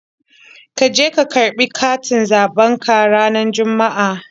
Ka je ka karɓi katin zaɓen ka ranar Juma'a.!